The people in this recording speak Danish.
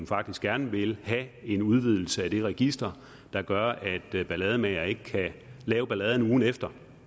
faktisk gerne vil have en udvidelse af det register der gør at ballademagere ikke kan lave ballade ugen efter